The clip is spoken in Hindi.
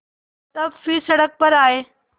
तब फिर सड़क पर आये